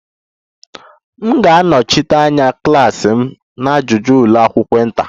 M ga-anọchite anya klas m na ajụjụ ụlọ akwụkwọ inter